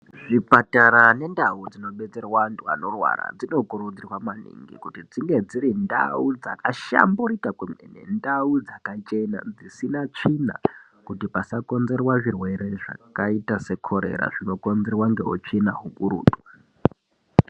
Zvipatara nendau dzinobetserwa antu anorwara dzinokurudzirwa maningi kuti dzinge dziri ndau dzakahlamburika kwemene. Ndau dzakachena dzisina tsvina kuti pasakonzerwa zvirwere zvakaita sekorera zvinokonzerwa ngeutsvina hukurutu.